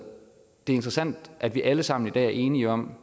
interessant at vi alle sammen i dag er enige om